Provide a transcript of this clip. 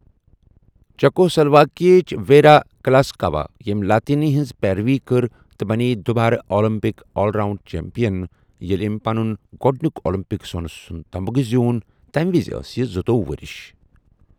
چیکوسلواکیہٕک Vera Caslavska, ییٚمۍ Latynina ہٕنٛز پیروی کٔر تہٕ بنٛیےٚ دُو بارٕ اولمپک آل آراؤنڈ چیمپِیَن، ییٚلہِ أمۍ پنُن گۄڈٕنیُک اولمپک سوٚنہٕ تمغہ زیوٗن تَمہِ وِزِ ٲس یہِ زٗتوۄہُ ؤرِش۔